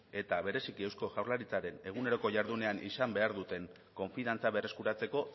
eta bereziki eusko jaurlaritzaren eguneroko jardunean izan behar duten konfiantza berreskuratzeko